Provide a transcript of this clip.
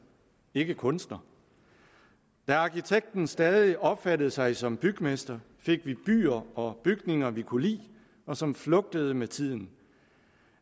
ikke kunstner da arkitekten stadig opfattede sig som bygmester fik vi byer og bygninger vi kunne lide og som flugtede med tiden